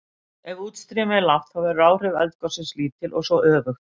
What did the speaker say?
ef útstreymi er lágt þá verða áhrif eldgossins lítil og svo öfugt